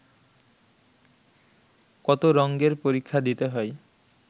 কত রঙ্গের পরীক্ষা দিতে হয়